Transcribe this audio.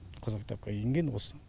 қызыл кітапқа енген осы